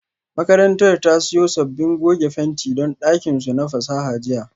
Makarantar ta siyo sabbin goge fenti don dakin su na fasaha jiya